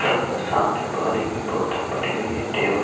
यहां पर सामने पानी की बोतल पड़ी हुई है टेबल --